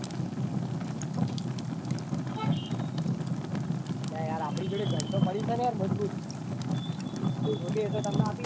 અલ્યા યાર આપડી જોડે gun પડી સ મજબૂત. કે એતો તમને આપી દે